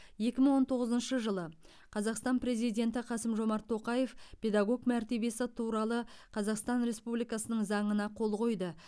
екі мың он тоғызыншы жылы қазақстан президенті қасым жомарт тоқаев педагог мәртебесі туралы қазақстан республикасының заңына қол қойды